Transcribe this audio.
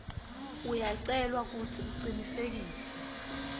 uyacelwa kutsi ucinisekise